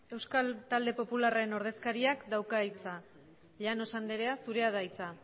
euskal talde popularraren ordezkariak dauka hitza llanos andrea zurea da hitza